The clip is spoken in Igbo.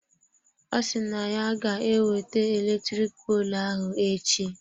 Ọ si na ya ga ewete eletrik poolụ ahụ echi.